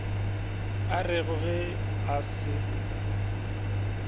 a rego ge a se